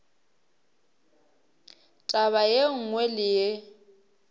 taba ye nngwe le ye